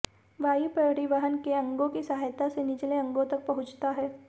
वायु परिवहन के अंगों की सहायता से निचले अंगों तक पहुंचता है